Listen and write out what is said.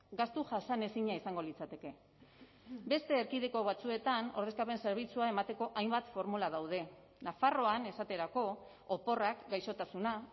gastu jasanezina izango litzateke beste erkidego batzuetan ordezkapen zerbitzua emateko hainbat formula daude nafarroan esaterako oporrak gaixotasuna